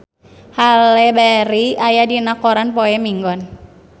Halle Berry aya dina koran poe Minggon